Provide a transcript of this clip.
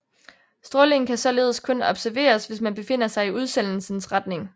Strålingen kan således kun observeres hvis man befinder sig i udsendelsens retning